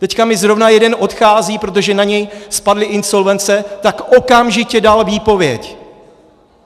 Teď mi zrovna jeden odchází, protože na něj spadly insolvence, tak okamžitě dal výpověď.